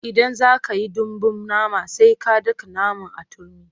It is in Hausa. Idan za ka yi dambun nama sai an daka naman a turmi.